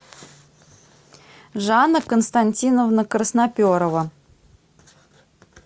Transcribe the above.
жанна константиновна красноперова